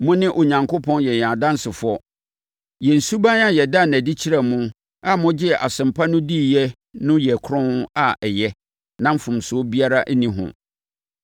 Mo ne Onyankopɔn yɛ yɛn adansefoɔ. Yɛn suban a yɛdaa no adi kyerɛɛ mo a mogyee Asɛmpa no diiɛ no yɛ kronn a ɛyɛ na mfomsoɔ biara nni ho.